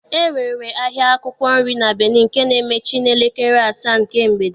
E nwere ahịa akwụkwọ nri na Benin nke na-emechi n'elekere asaa nke mgbede.